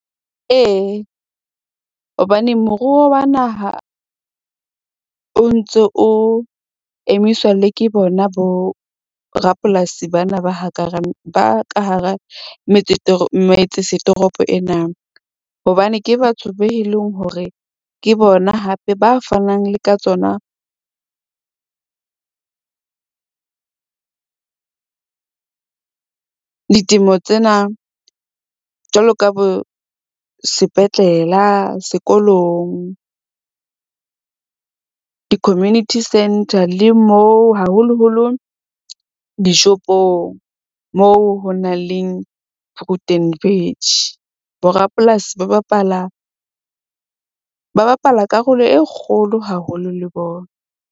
Ee, hobane moruo wa naha o ntso o emiswa le ke bona borapolasi bana ba ka hara metse metse setoropo ena. Hobane ke batho be leng hore ke bona hape ba fanang le ka tsona ditemo tsena. Jwalo ka bo sepetlela, sekolong di-community centre, le mo haholoholo di-shop-ong moo ho nang le fruit and veg. Borapolasi ba bapala karolo e kgolo haholo le bona.